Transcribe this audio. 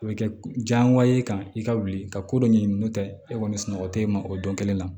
A bɛ kɛ diyagoya ye i kan i ka wuli ka ko dɔ ɲini n'o tɛ e kɔni sunɔgɔ tɛ e ma o don kelen na